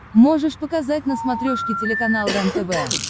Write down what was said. можешь показать на смотрешке телеканал рентв